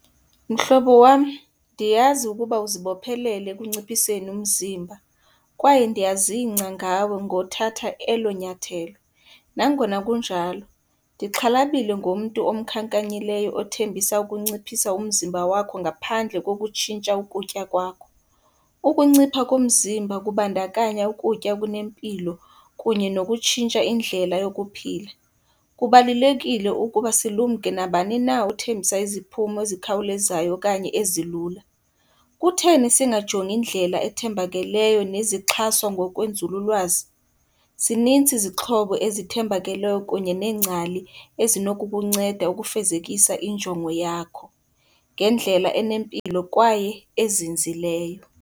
Mhlobo wam, ndiyazi ukuba uzibophelele ekunciphiseni umzimba kwaye ndiyazingca ngawe ngothatha elo nyathelo. Nangona kunjalo, ndixhalabile ngomntu omkhankanyileyo othembisa ukunciphisa umzimba wakho ngaphandle kokutshintsha ukutya kwakho. Ukuncipha komzimba kubandakanya ukutya okunempilo kunye nokutshintsha indlela yokuphila. Kubalulekile ukuba silumke nabani na othembisa iziphumo ezikhawulezayo okanye ezilula. Kutheni singajongi indlela ethembakeleyo nezixhaswa ngokwenzululwazi? Zininzi izixhobo ezithembakeleyo kunye neengcali ezinokukunceda ukufezekisa injongo yakho ngendlela enempilo kwaye ezinzileyo.